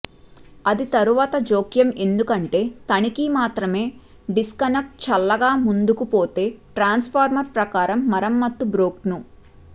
అది తరువాత జోక్యం ఎందుకంటే తనిఖీ మాత్రమే డిస్కనెక్ట్ చల్లగా ముందుకు పోతే ట్రాన్స్ఫార్మర్ ప్రకారం మరమ్మత్తు బ్లోక్ను